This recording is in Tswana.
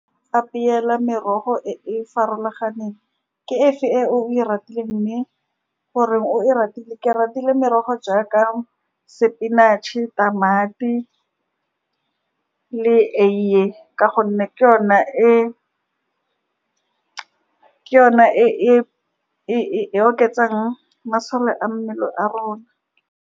Apeela merogo e e farologaneng ke efe e o e ratileeng, mme gore o e ratile, ke ratile merogo jaaka spinach-e, tamati le eie, ka gonne ke yona e, ke yona e e oketsang masole a mmele a rona.